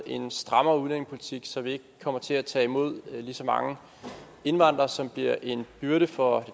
en strammere udlændingepolitik så vi ikke kommer til at tage imod lige så mange indvandrere som bliver en byrde for